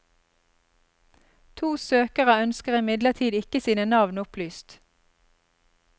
To søkere ønsker imidlertid ikke sine navn opplyst.